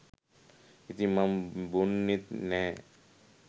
ඉතින් මං බොන්නෙත් නැහැ